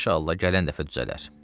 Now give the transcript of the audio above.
İnşallah gələn dəfə düzələr.